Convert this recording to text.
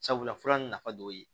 Sabula fura nin nafa dɔ ye